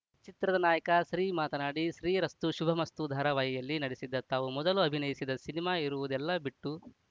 ಚಿತ್ರದ ನಾಯಕ ಶ್ರೀ ಮಾತನಾಡಿ ಶ್ರೀರಸ್ತು ಶುಭಮಸ್ತು ಧಾರಾವಾಹಿಯಲ್ಲಿ ನಟಿಸಿದ್ದ ತಾವು ಮೊದಲು ಅಭಿನಯಿಸಿದ ಸಿನಿಮಾ ಇರುವುದೆಲ್ಲ ಬಿಟ್ಟು